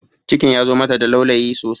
Cikin ya zo mata da laulayi sosai